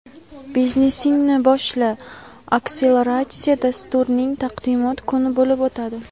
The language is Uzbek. "Biznesingni boshla" akseleratsiya dasturining taqdimot kuni bo‘lib o‘tadi.